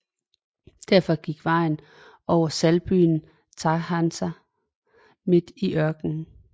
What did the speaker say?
Derfra gik vejen over saltbyen Taghaza midt i ørkenen